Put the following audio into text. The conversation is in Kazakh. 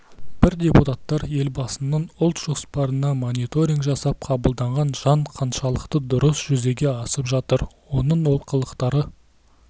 біз депутаттар елбасының ұлт жоспарына мониторинг жасап қабылданған заң қаншалықты дұрыс жүзеге асып жатыр оның олқылықтары